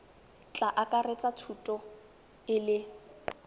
tla akaretsa thuto e le